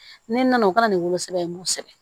Ne nana o kɛra ni wolosɛbɛn ye n b'o sɛbɛn